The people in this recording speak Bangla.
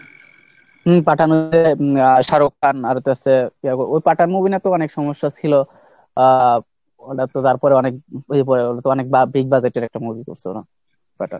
হম পাঠানেতে শাহরুখ খান আর ওতে আছে ওই পাঠান movie নিয়েও তো অনেক সমস্যা ছিল আহ ওটা তো তারপরে অনেক ইয়ে পড়ে হলো তো অনেক big budget এর একটা movie করছে ওরা .